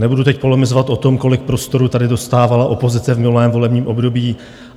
Nebudu teď polemizovat o tom, kolik prostoru tady dostávala opozice v minulém volebním období.